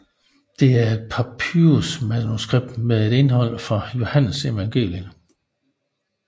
Det er et papyrus manuskript med et indhold fra Johannesevangeliet